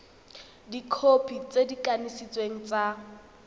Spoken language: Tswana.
dikhopi tse di kanisitsweng tsa